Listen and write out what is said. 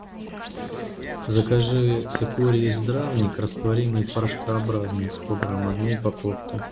закажи цикорий здравник растворимый порошкообразный сто грамм одну упаковку